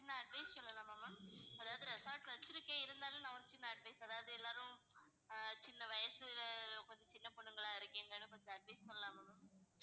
சின்ன advice சொல்லலாமா ma'am அதாவது resort வச்சிருக்கேன், இருந்தாலும் நான் வந்து ஒரு சின்ன advice அதாவது எல்லாரும் சின்ன வயசுல கொஞ்சம் சின்ன பொண்ணுங்களா இருக்கீங்க கொஞ்சம் advice சொல்லலாமா ma'am